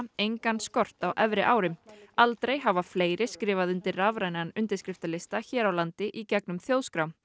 engan skort á efri árum aldrei hafa fleiri skrifað undir rafrænan undirskriftalista hér á landi í gegnum þjóðskrá